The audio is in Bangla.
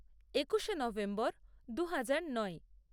একুশে নভেম্বর দু হাজার নয়